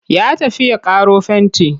Ya tafi ya ƙaro fenti.